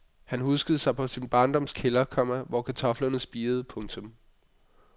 Han huskede på sin barndoms kælder, komma hvor kartoflerne spirede. punktum